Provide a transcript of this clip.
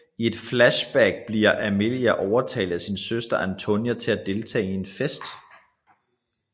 I et flashback bliver Amelia overtalt af sin søster Antonia til at deltage i en fest